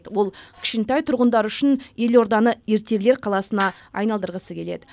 ол кішкентай тұрғындар үшін елорданы ертегілер қаласына айналдырғысы келеді